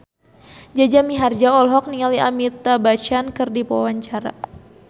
Jaja Mihardja olohok ningali Amitabh Bachchan keur diwawancara